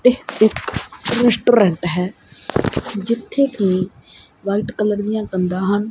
ਇਹ ਇੱਕ ਰੈਸਟੂਰੈਂਟ ਹੈ ਜਿੱਥੇ ਕੀ ਵ੍ਹਾਈਟ ਕਲਰ ਦੀਆਂ ਕੰਧਾਂ ਹਨ।